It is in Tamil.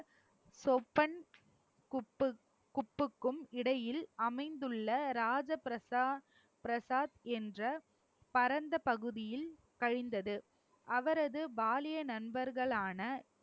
சொப்பன் குப்பு~ குப்புக்கும் இடையில் அமைந்துள்ள ராஜ பிரசாத் பிரசாத் என்ற பரந்த பகுதியில் கழிந்தது அவரது பாலிய நண்பர்களான